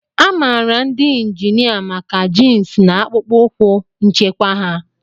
A maara ndị injinia maka jins na akpụkpọ ụkwụ nchekwa ha.